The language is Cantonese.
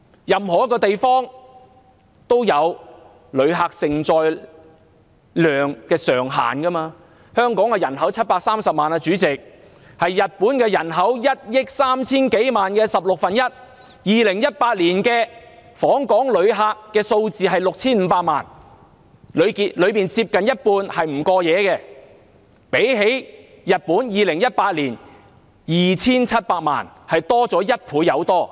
任何一個地方都有旅客承載量上限，香港人口730萬，是日本人口1億 3,000 多萬的十六分之一 ；2018 年訪港旅客數目是 6,500 萬，當中接近一半是不過夜旅客，相比日本2018年的 2,780 萬人次，多出一倍有多。